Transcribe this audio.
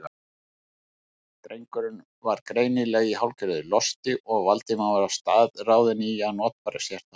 Drengurinn var greinilega í hálfgerðu losti og Valdimar var staðráðinn í að notfæra sér það.